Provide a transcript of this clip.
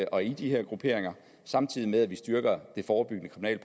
og i de her grupperinger samtidig med at vi styrker det forebyggende